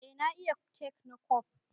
Eh na iya kek na kwaf.